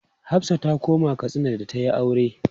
Hafsah ta koma Katsina da ta yi aure.